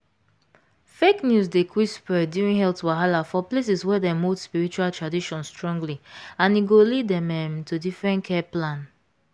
fake news dey quick spread during health wahala for places wey dem hold spiritual tradition strongly and e go lead um um to different care plan.